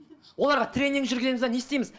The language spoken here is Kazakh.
оларға тренинг жүргіземіз бе не істейміз